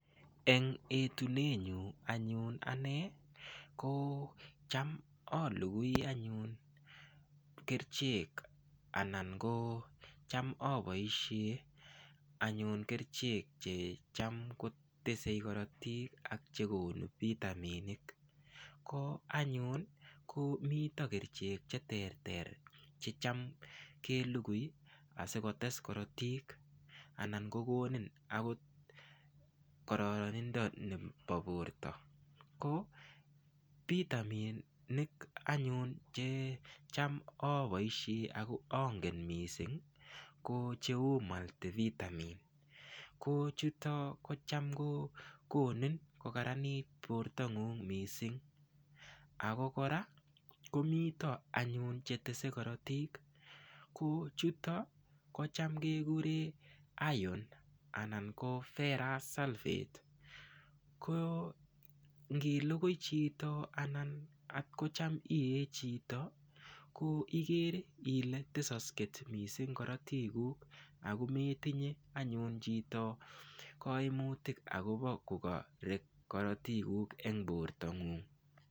Eng etunet nyu anyun ane ko cham alugui anyun kerchek anan ko cham aboishe anyun kerchek che cham kotesei korotik ak chekonu vitaminik ko anyun ko mito kerchek che ter ter che cham kelugui asikotes korotik anan kokonin akot kororonindo nebo borto ko vitaminik anyun che cham aboishe ako angen mising ko cheu multivitamin ko chuto ko cham konin kokaranit borto ng'ung' mising ako kora komito anyun chetesei korotik ko chuto ko cham kekure iron anan ko ferrous sulfate ko ngiligui chito anan atkocham ie chito ko igere ile tesosket missing korotikuk akometinye anyun chito koimutik akobo kokarek korotikuk eng borto ng'ung'.